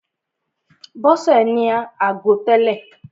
Bọ́sè ní ago tẹ́lè.